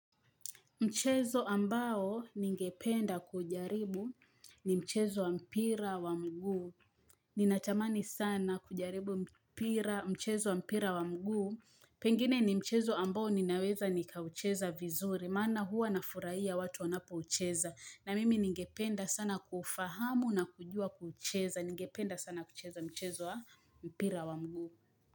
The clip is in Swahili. Mchezo ambao ningependa kujaribu ni mchezo wa mpira wa mguu. Ninatamani sana kujaribu mchezo wa mpira wa mguu. Pengine ni mchezo ambao ninaweza nikaucheza vizuri. Maana huwa nafurahia watu wanapoucheza. Na mimi ningependa sana kufahamu na kujua kucheza. Ningependa sana kucheza mchezo wa mpira wa mguu.